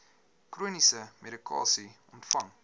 chroniese medikasie ontvang